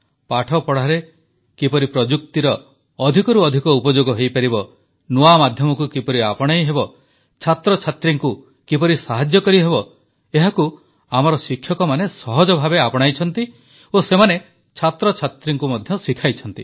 ପାଠପଢ଼ାରେ କିପରି ପ୍ରଯୁକ୍ତିର ଅଧିକରୁ ଅଧିକ ଉପଯୋଗ ହୋଇପାରିବ ନୂଆ ମାଧ୍ୟମକୁ କିପରି ଆପଣାଇହେବ ଛାତ୍ରଛାତ୍ରୀଙ୍କୁ କିପରି ସାହାଯ୍ୟ କରିହେବ ଏହାକୁ ଆମର ଶିକ୍ଷକମାନେ ସହଜଭାବେ ଆପଣାଇଛନ୍ତି ଓ ସେମାନେ ଛାତଛାତ୍ରୀଙ୍କୁ ମଧ୍ୟ ଶିଖାଇଛନ୍ତି